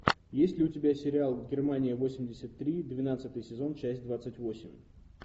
есть ли у тебя сериал германия восемьдесят три двенадцатый сезон часть двадцать восемь